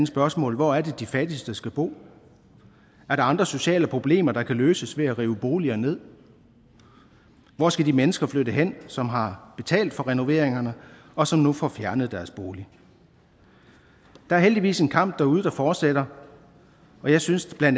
spørgsmål hvor er det de fattigste skal bo er der andre sociale problemer der kan løses ved at rive boliger ned hvor skal de mennesker flytte hen som har betalt for renoveringerne og som nu får fjernet deres bolig der er heldigvis en kamp derude der fortsætter og jeg synes bla at